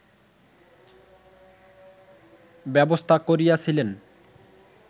ব্যবস্থা করিয়াছিলেন